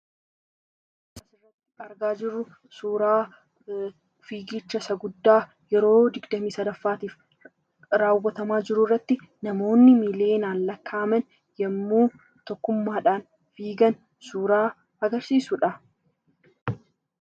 Suuraa kanaa gadii irraa kan mul'atu suuraa fiigicha Isa guddaa yeroo 23ffaaf namoota miliyootaan kan dorgomamaa jiruu dha.